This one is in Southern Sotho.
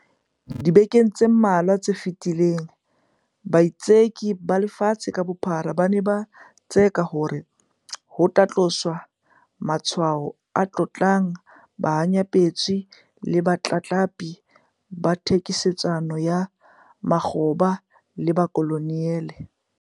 Dibekeng tse mmalwa tse fetileng, baitseki ba lefatshe ka bophara ba ne ba tseka hore ho tloswe matshwao a tlotlang bohanyapetsi le botlatlapi ba thekisetsano ya makgoba le bokoloniale.